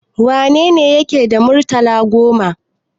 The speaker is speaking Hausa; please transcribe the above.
Wane yake da murtala goma?